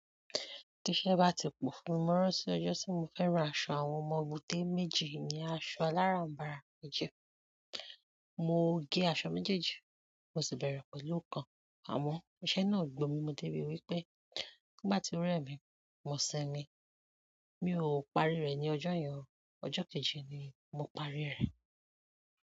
Tí iṣẹ́ bá ti pọ̀ fún mi, mo rántí ọjọ́ tí mo fẹ́ rá aṣọ àwọn ọmọ dé méjì ìyẹn aṣọ alárànbarà méjì. Mo gé aṣọ méjèèjì mo sì bẹ̀rẹ̀ pẹ̀lú ọ̀kan. Àmọ́ iṣẹ́ náà gbo mi mo dé ri wípé nígbà tí ó rè mi mọ̀ sinmi. Mi ò parí rẹ̀ ní ọjọ́ yẹn o, ọjọ́ kejì ni mo parí rẹ̀.